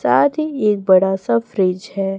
साथ ही एक बड़ा सा फ्रिज है।